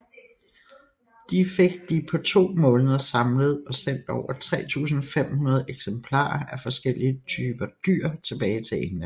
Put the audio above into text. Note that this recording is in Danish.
De fik de på to måneder samlet og sendt over 3500 eksemplarer af forskellige dyr tilbage til England